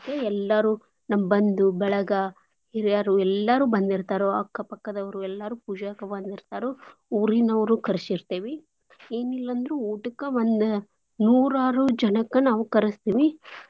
ಎಲ್ಲಾರೂ ನಮ್ ಬಂದು ಬಳಗ ಹಿರ್ಯಾರೂ ಎಲ್ಲಾರೂ ಬಂದಿರ್ತಾರು. ಅಕ್ಕ ಪಕ್ಕದವ್ರು ಎಲ್ಲಾರು ಪೂಜೇಕ ಬಂದಿರ್ತಾರು ಊರಿನೋರೂ ಕರ್ಶರ್ತೇವಿ. ಏನಿಲ್ಲಾಂದ್ರು ಊಟಕ್ಕ ಒಂದ್ ನೂರಾರು ಜನಕ್ಕ ನಾವು ಕರಸ್ತೆವಿ.